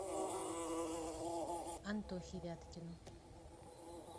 антохе вяткину